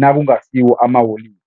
nakungasiwo amaholide.